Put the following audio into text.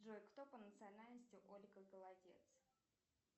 джой кто по национальности ольга голодец